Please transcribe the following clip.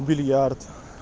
бильярд